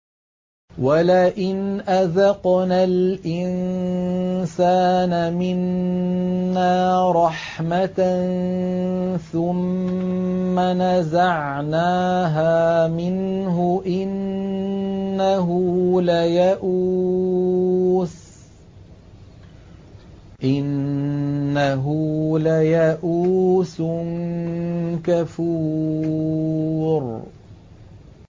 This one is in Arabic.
وَلَئِنْ أَذَقْنَا الْإِنسَانَ مِنَّا رَحْمَةً ثُمَّ نَزَعْنَاهَا مِنْهُ إِنَّهُ لَيَئُوسٌ كَفُورٌ